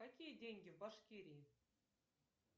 какие деньги в башкирии